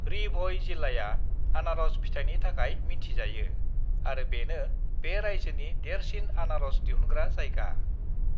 री-भ'ई जिल्लाअ आनारस फिथाइनि थाखाय मिन्थिजायो आरो बेनो बे राइजोनि देरसिन आनारस दिहुनग्रा जायगा।